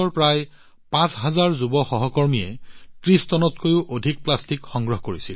প্ৰায় ৫০০০ যুৱ এনএছএছ সহকৰ্মীয়ে ৩০ টনতকৈও অধিক প্লাষ্টিক সংগ্ৰহ কৰিছিল